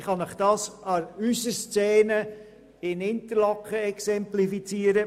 Ich kann Ihnen dies an der Szene in Interlaken exemplifizieren.